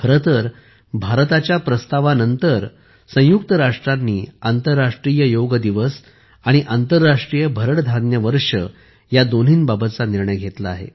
खरे तर भारताच्या प्रस्तावानंतरच संयुक्त राष्ट्रांनी आंतरराष्ट्रीय योग दिवस आणि आंतरराष्ट्रीय भरड धान्ये वर्ष या दोन्ही बाबतचा निर्णय घेतला आहे